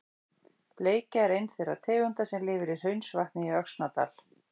Bleikja er ein þeirra tegunda sem lifir í Hraunsvatni í Öxnadal.